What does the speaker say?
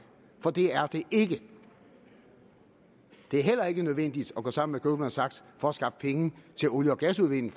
for det er det ikke det er heller ikke nødvendigt at gå sammen med goldman sachs for at skaffe penge til olie og gasudvinding